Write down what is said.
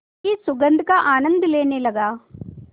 की सुगंध का आनंद लेने लगा